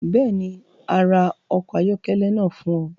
Bẹ́ẹ̀ ni, a ra ọkọ̀ ayọ́kẹ́lẹ́ náà fún ọ.